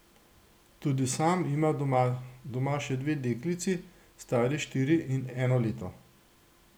Tudi sam ima doma še dve deklici, stari štiri in eno leto.